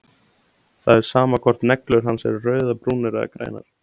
Það er sama hvort neglur hennar eru rauðar, brúnar eða grænar.